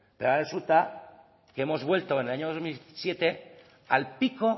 pero ahora resulta que hemos vuelto en el año dos mil siete al pico